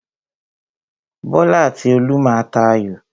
Bọ́lá àti Olú má a tà ayò.